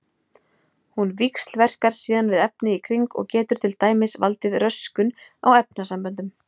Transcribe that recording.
Hún víxlverkar síðan við efnið í kring og getur til dæmis valdið röskun á efnasamböndum.